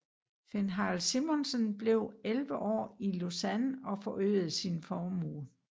Finn Harald Simonsen blev 11 år i Lausanne og øgede sin formue